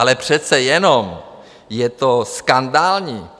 Ale přece jenom, je to skandální!